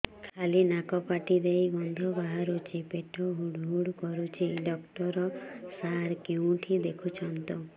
ଖାଲି ନାକ ପାଟି ଦେଇ ଗଂଧ ବାହାରୁଛି ପେଟ ହୁଡ଼ୁ ହୁଡ଼ୁ କରୁଛି ଡକ୍ଟର ସାର କେଉଁଠି ଦେଖୁଛନ୍ତ